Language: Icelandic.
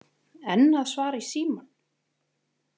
Enn að svara í símann?